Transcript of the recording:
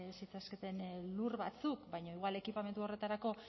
zitzaketen lur batzuk baina igual ekipamendu horretarako